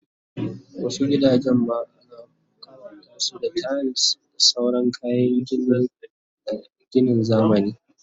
Wasu gidajen ma ana kawatasu da tiles da sauran kayan ginin zamani